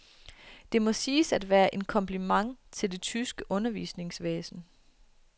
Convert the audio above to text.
Det må siges at være en kompliment til det tyske undervisningsvæsen.